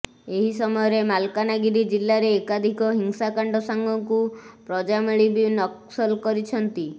ଏହି ସମୟରେ ମାଲକାନଗିରି ଜିଲ୍ଲାରେ ଏକାଧିକ ହିଂସାକାଣ୍ଡ ସାଙ୍ଗକୁ ପ୍ରଜାମେଳି ବି ନକ୍ସଲ କରିଛନ୍ତି